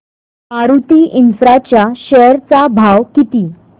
Maruti infra च्या share चा भाव किती